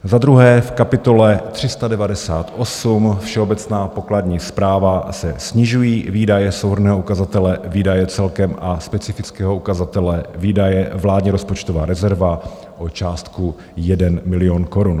Za druhé, v kapitole 398, Všeobecná pokladní správa, se snižují výdaje souhrnného ukazatele Výdaje celkem a specifického ukazatele Výdaje - vládní rozpočtová rezerva o částku 1 milion korun.